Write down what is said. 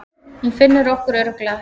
Hún finnur okkur örugglega, sagði